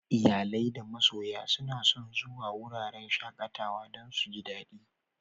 Iyale da masoya suna son zuwan wuraren shakatawa dan su ji dadi.